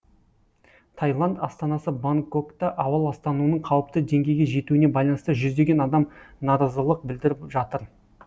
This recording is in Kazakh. таиланд астанасы бангкокта ауа ластануының қауіпті деңгейге жетуіне байланысты жүздеген адам наразылық білдіріп жатыр